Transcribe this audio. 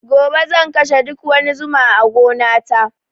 Gobe zan kashe duk wani zuma a gona ta